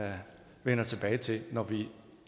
vender tilbage til når vi